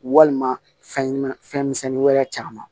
Walima fɛn ɲuman fɛnni wɛrɛ caman